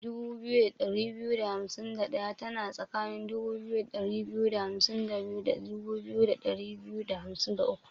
2251 tana tsakanin 2252 da 2253.